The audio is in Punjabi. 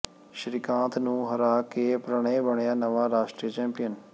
ਸ਼੍ਰੀਕਾਂਤ ਨੂੰ ਹਰਾ ਕੇ ਪ੍ਰਣਯ ਬਣਿਆ ਨਵਾਂ ਰਾਸ਼ਟਰੀ ਚੈਂਪੀਅਨ